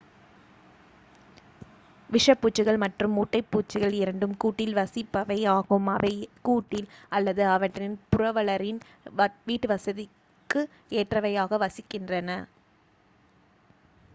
விஷப்பூச்சிகள் மற்றும் மூட்டைப்பூச்சிகள் இரண்டும் கூட்டில் வசிப்பவை ஆகும் அவை கூட்டில் அல்லது அவற்றின் புரவலரின் வீட்டுவசதிக்கு ஏற்றவையாக வசிக்கின்றன